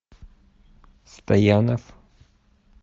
стоянов